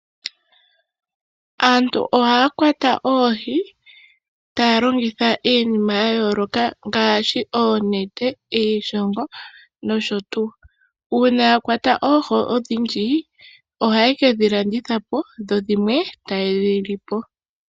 Aantu ohaa kwata oohi taa longitha iinima ya yooloka ngaashi oonete iishongo nosho tuu .Uuna ya kwata oohi odhindji ohaye kedhi landitha po dho dhimwe taye dhi lipo.